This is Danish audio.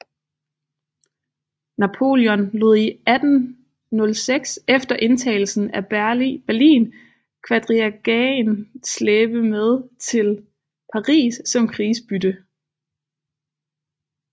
Napoleon lod i 1806 efter indtagelsen af Berlin quadrigaen slæbe med til Paris som krigsbytte